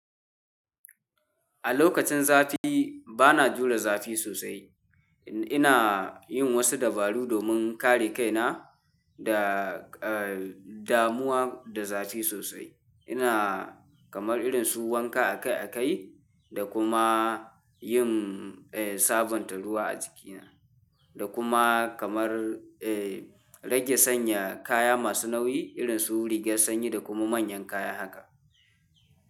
A lokacin zafi bana jure zafi sosai. Ina yin wasu dabaru domin kare kaina da, eh, damuwa da zace sosai. Ina kamar irin su wanka akai-akai da kuma yin, eh, sabonta ruwa a jikina da kuma kamar, eh, rage sanya kaya masu nauyi irin su rigar sanyi da kuma manyan kaya haka.